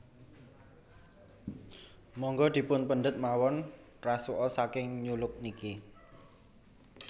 Monggo dipun pendet mawon rasuka saking New Look niki